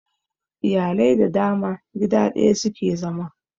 Iyalai da dama gida daya suke zama